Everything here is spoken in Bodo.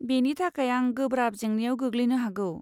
बेनि थाखाय आं गोब्राब जेंनायाव गैग्लैनो हागौ।